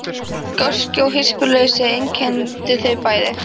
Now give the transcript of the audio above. Gáski og hispursleysi einkenndi þau bæði.